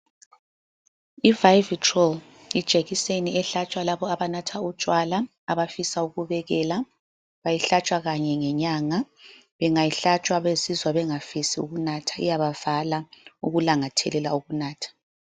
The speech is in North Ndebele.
I-Vivitrol yijekiseni ehlatshwa labo abanatha utshwala abafisa ukubekela. Bayihlatshwa kanye ngenyanga. Bengayihlatshwa bazizwa bengafisi ukunatha iyabavala ukulangathelela ukunatha.